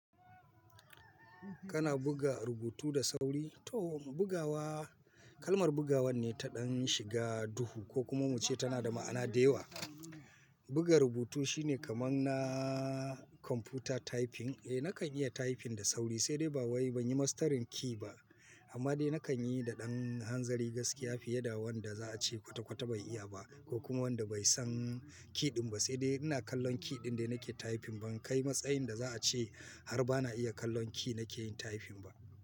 Kana buga rubutu da sauri? To bugawa, kalmar bugawan ne ta ɗan shiga duhu ko kuma muce tana da ma'ana da yawa. Buga rubutu shine kamar na computer typing. Eh nakan iya typing da sauri, sai dai ba wai ban yi mastarin key ba. Amma dai nakan yi da ɗan hanzari gaskiya fiye da wanda za a ce kwata-kwata bai iya ba ko kuma wanda bai san key ɗin ba. Sai dai ina kallon key ɗin da nake typing, ban kai matsayin da za a ce har ba na iya kallon key nake yin typing ba.